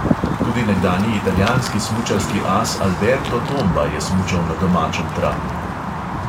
Tudi nekdanji italijanski smučarski as alberto tomba je smučal na domačem travniku.